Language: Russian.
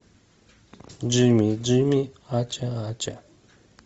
джимми джимми ача ача